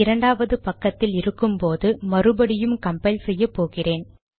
இரண்டாவது பக்கத்தில் இருக்கும்போது மறுபடியும் கம்பைல் செய்ய போகிறேன்